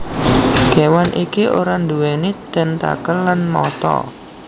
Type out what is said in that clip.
Kewan iki ora nduweni tentakel lan mata